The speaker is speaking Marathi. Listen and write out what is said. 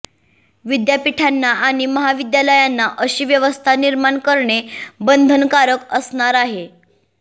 विद्यापीठांना आणि महाविद्यालयांना अशी व्यवस्था निर्माण करणे बंधनकारक असणार आहे